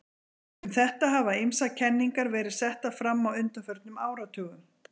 Um þetta hafa ýmsar kenningar verið settar fram á undanförnum áratugum.